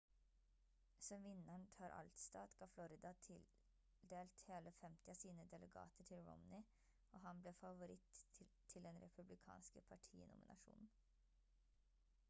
som vinneren tar alt-stat ga florida tildelt hele 50 av sine delegater til romney og han ble favoritt til den republikanske partinominasjonen